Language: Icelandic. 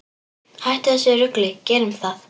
Hættum þessu rugli, gerum það!